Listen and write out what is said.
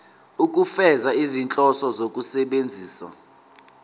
ukufeza izinhloso zokusebenzisa